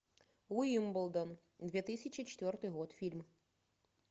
уимблдон две тысячи четвертый год фильм